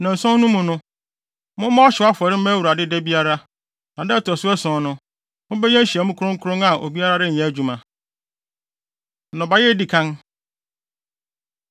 Nnanson no mu no, mommɔ ɔhyew afɔre mma Awurade da biara. Na da a ɛto so ason no, mobɛyɛ nhyiamu kronkron a obiara renyɛ adwuma.’ ” Nnɔbae A Edi Kan